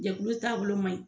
Jɛkulu taabolo man ɲi.